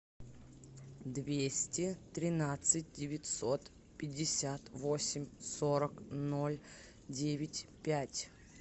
двести тринадцать девятьсот пятьдесят восемь сорок ноль девять пять